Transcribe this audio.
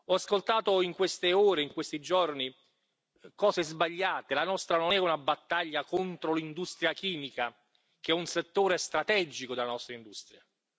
Ho ascoltato in queste ore, in questi giorni, cose sbagliate la nostra non è una battaglia contro l'industria chimica, che è un settore strategico della nostra industria.